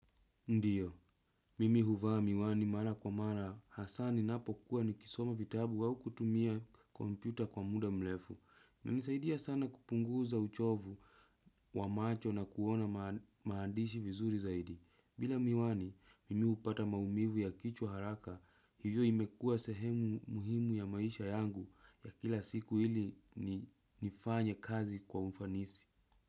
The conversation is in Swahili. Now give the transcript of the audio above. Ndiyo, mimi huvaa miwani mara kwa mara hasa ninapokuwa nikisoma vitabu au kutumia kompyuta kwa muda mlefu. Na nisaidia sana kupunguza uchovu wa macho na kuona maandishi vizuri zaidi. Bila miwani, mimi upata maumivu ya kichwa haraka, hivyo imekua sehemu muhimu ya maisha yangu ya kila siku hili nifanye kazi kwa umfanisi.